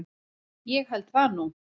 Ég held það nú.